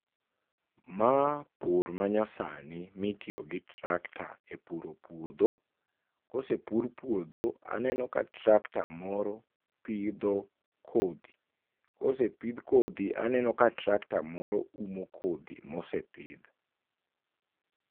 Ma pur manyasani ma itiyo gi tractor epuro puodho. Ka osepur puodho, aneno ka tractor moro pidho kodhi. Ka osepidh kodhi aneno ka tractor moro umo kodhi ma osepidh.